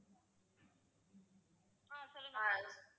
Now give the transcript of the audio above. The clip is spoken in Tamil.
ஹம் சொல்லுங்க ma'am